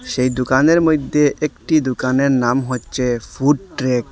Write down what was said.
সেই দুকানের মইদ্যে একটি দুকানের নাম হচ্ছে ফুড ট্র্যাক ।